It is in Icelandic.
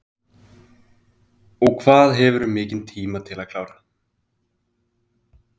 Hugrún: Og hvað hefurðu mikinn tíma til að klára?